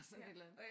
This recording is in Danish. Sådan et eller andet